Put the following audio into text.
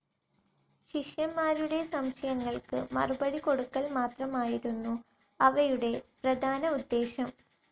ശിഷ്യന്മാരുടെ സംശയങ്ങൾക്കു മറുപടി കൊടുക്കൽ മാത്രമായിരുന്നു അവയുടെ പ്രധാന ഉദ്ദേശം.